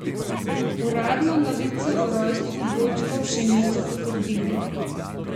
Uradno novice o rojstvu dvojčkov še niso potrdili.